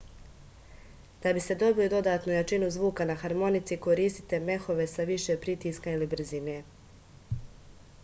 da biste dobili dodatnu jačinu zvuka na harmonici koristite mehove sa više pritiska ili brzine